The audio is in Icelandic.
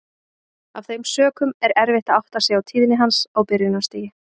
Af þeim sökum er erfitt að átta sig á tíðni hans á byrjunarstigi.